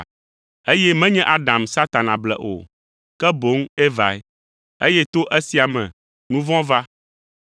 Eye menye Adam Satana ble o, ke boŋ Evae, eye to esia me, nu vɔ̃ va.